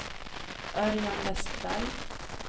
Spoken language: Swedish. Örjan Westberg